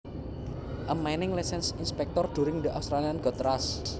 A mining license inspector during the Australian gold rush